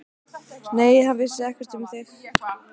Nei, hann vissi ekkert um þig.